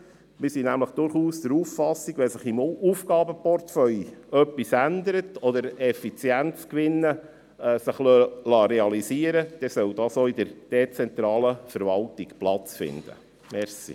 Wir sind nämlich durchaus der Auffassung, dass wenn sich im Aufgaben-Portefeuille etwas verändert oder sich Effizienzgewinne realisieren lassen, es dann auch in der dezentralen Verwaltung möglich sein soll.